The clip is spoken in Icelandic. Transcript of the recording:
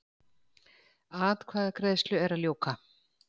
Atkvæðagreiðslu er að ljúka